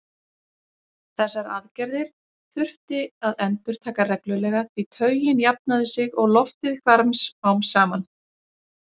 Þessar aðgerðir þurfti að endurtaka reglulega því taugin jafnaði sig og loftið hvarf smám saman.